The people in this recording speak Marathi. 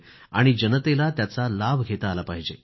आणि जनतेला त्याचा लाभ घेता आला पाहिजे